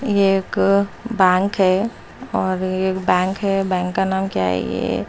ये एक बैंक है और बैंक है बैंक का नाम क्या है? ये--